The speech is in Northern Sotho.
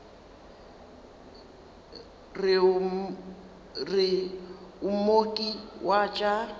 re o mooki wa tša